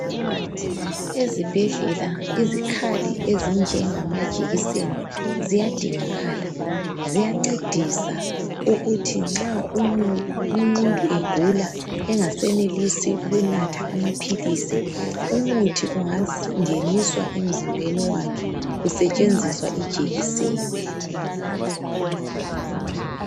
Ezibhedlela, izikhali ezinjengamajekiseni ziyadingakala. Ziyancedisa ukuthi nxa umuntu egula engasenelisi ukunatha amaphilisi, umuthi ungangeniswa emzimbeni wakhe kusetshenziswa ijekiseni.